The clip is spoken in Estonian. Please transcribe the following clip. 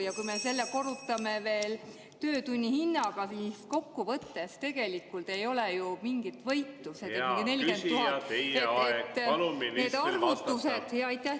Ja kui me selle korrutame töötunni hinnaga, siis kokkuvõttes tegelikult ei ole ju mingit võitu, see on ikkagi 40 000 ...